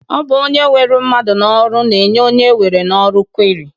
Ọ bụ onye weru mmadụ n'ọrụ na-enye onye ewere n'ọrụ kweri